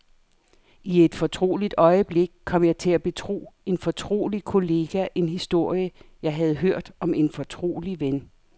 I et fortroligt øjeblik kom jeg til at betro en fortrolig kollega en historie, jeg havde hørt om en fortrolig ven.